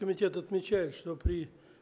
комитет отмечает что при